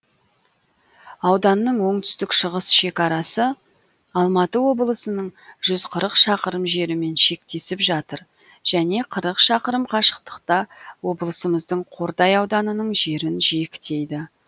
ауданның оңтүстік шығыс шекарасы алматы облысының жүз қырық шақырым жерімен шектесіп жатыр және қырық шақырым қашықтықта облысымыздың қордай ауданының жерін жиектейді